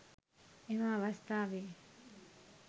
එම අවස්ථාවේ